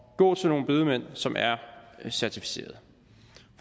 gå til nogle bedemænd som er certificerede